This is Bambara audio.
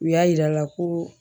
U y'a yir'a la ko